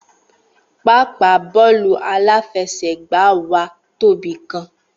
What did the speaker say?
Pápáa bóòlù aláfesègbáa wa tóbi gan